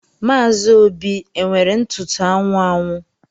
Maazi Óbì e nwere ntụtụ anwụ anwụ?